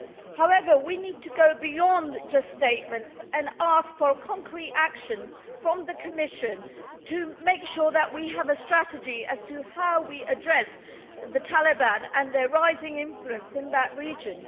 However, we need to go beyond just statements and ask for concrete action from the Commission to make sure that we have a strategy as to how we address the Taliban and their rising influence in that region.